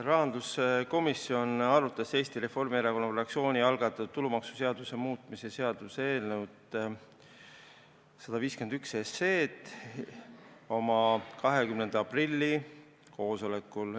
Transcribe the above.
Rahanduskomisjon arutas Eesti Reformierakonna fraktsiooni algatatud tulumaksuseaduse muutmise seaduse eelnõu 151 oma 20. aprilli koosolekul.